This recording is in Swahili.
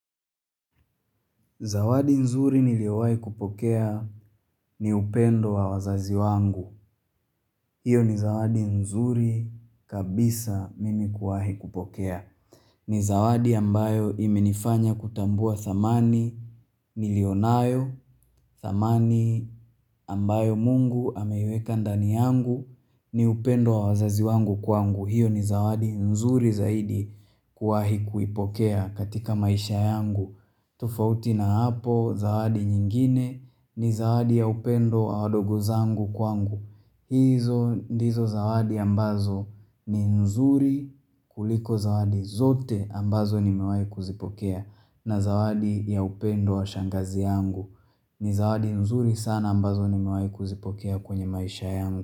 Zawadi nzuri niliyowai kupokea ni upendo wa wazazi wangu. Hiyo ni zawadi nzuri kabisa mimi kuwahi kupokea. Ni zawadi ambayo imenifanya kutambua dhamani niliyo nayo, dhamani ambayo mungu ameweka ndani yangu ni upendo wa wazazi wangu kuangu. Hiyo ni zawadi nzuri zaidi kuwahi kuipokea katika maisha yangu. Tofauti na hapo zawadi nyingine ni zawadi ya upendo wa wadogo zangu kwangu Izo ndizo zawadi ambazo ni nzuri kuliko zawadi zote ambazo nimewai kuzipokea na zawadi ya upendo wa shangazi yangu ni zawadi nzuri sana ambazo nimewai kuzipokea kwenye maisha yangu.